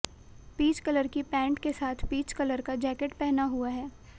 peach colour की pant के साथ पीच का कलर जैकेट पहना हुआ है